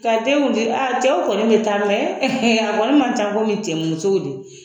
Ka den a cɛw kɔni bɛ taa a kɔni man ca komi cɛ musow de